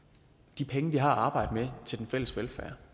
de penge vi har at arbejde med til den fælles velfærd